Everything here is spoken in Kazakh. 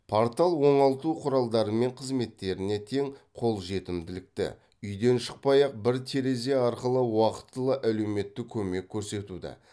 портал оңалту құралдары мен қызметтеріне тең қолжетімділікті үйден шықпай ақ бір терезе арқылы уақытылы әлеуметтік көмек көрсетуді